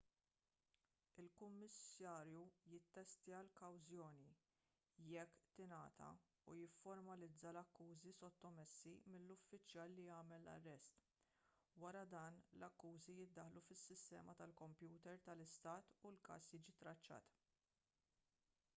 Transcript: il-kummissarju jissettja l-kawzjoni jekk tingħata u jifformalizza l-akkużi sottomessi mill-uffiċjal li għamel l-arrest wara dan l-akkużi jiddaħħlu fis-sistema tal-kompjuter tal-istat u l-każ jiġi traċċat